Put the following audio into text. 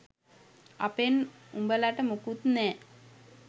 අපෙන් උබලට මුකුත් නෑ